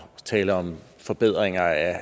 taler om forbedringer af